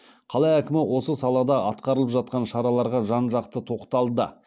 қала әкімі осы салада атқарылып жатқан шараларға жан жақты тоқталды